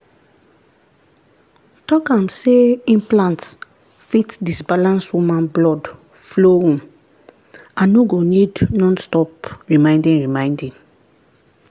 talk am say implants fit disbalance woman blood flowum and no go need non stop reminding reminding